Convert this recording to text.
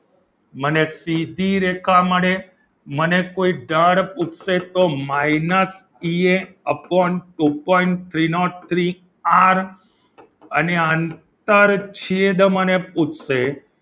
મને સીધી રેખા મળે મને કોઈ ડર પૂછશે તો minus T A upon two point three nought three R અને આંતર છેદ મને પૂછશે.